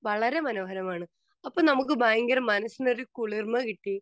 Speaker 2 വളരെ മനോഹരമാണ്. അപ്പോൾ നമുക്ക് ഭയങ്കര മനസ്സിനൊരു കുളിർമ്മ കിട്ടി.